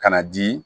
Ka na di